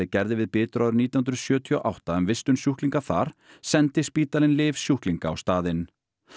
gerði við Bitru árið nítján hundruð sjötíu og átta um vistun sjúklinga þar sendi spítalinn lyf sjúklinga á staðinn